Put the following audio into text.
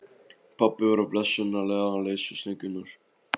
Pabbi var blessunarlega laus við slöngurnar.